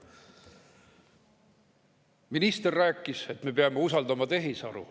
Minister rääkis, et me peame usaldama tehisaru.